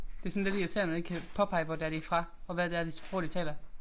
Det sådan lidt irriterende ikke kan påpege hvor det er de er fra og hvad det er det sprog de taler